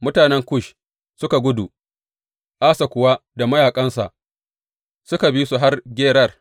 Mutanen Kush suka gudu, Asa kuwa da mayaƙansa suka bi su har Gerar.